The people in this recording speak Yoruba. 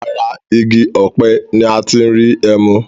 Ara igi ọpẹ ni a ti ń rí ẹmu